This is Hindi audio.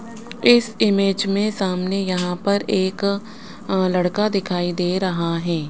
इस इमेज में सामने यहां पर एक लड़का दिखाई दे रहा है।